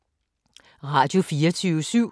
Radio24syv